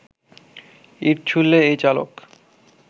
ইট ছুড়লে এই চালক